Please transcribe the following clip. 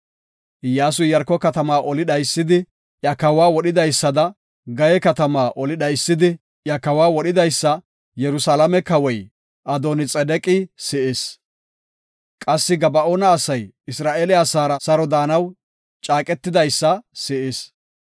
Iyyasuy Iyaarko katamaa oli dhaysidi, iya kawa wodhidaysada, Gayee katamaa oli dhaysidi, iya kawa wodhidaysa Yerusalaame kawoy Adooni-Xedeqi si7is. Qassi Gaba7oona asay Isra7eele asaara saro daanaw caaqetidaysa si7is.